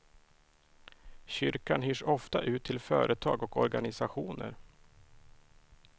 Kyrkan hyrs ofta ut till företag och organisationer.